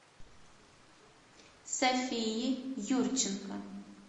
софии юрченко